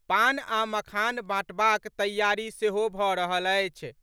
पान आ मखान बांटबाक तैयारी सेहो भऽ रहल अछि।